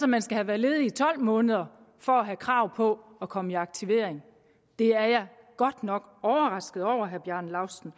man skal have været ledig i tolv måneder for at have krav på at komme i aktivering det er jeg godt nok overrasket over at herre bjarne laustsen